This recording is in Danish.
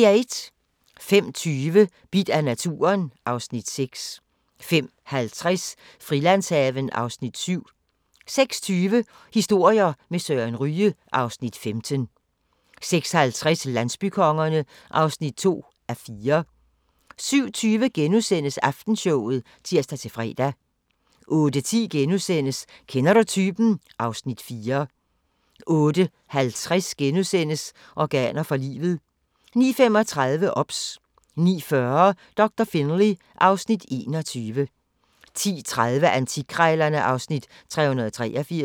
05:20: Bidt af naturen (Afs. 6) 05:50: Frilandshaven (Afs. 7) 06:20: Historier med Søren Ryge (Afs. 15) 06:50: Landsbykongerne (2:4) 07:20: Aftenshowet *(tir-fre) 08:10: Kender du typen? (Afs. 4)* 08:50: Organer for livet (1:2)* 09:35: OBS 09:40: Doktor Finlay (Afs. 21) 10:30: Antikkrejlerne (Afs. 383)